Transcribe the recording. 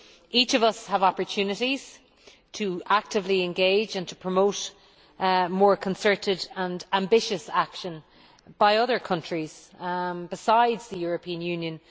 Each of us has opportunities to actively engage and to promote more concerted and ambitious action by other countries besides the European Union.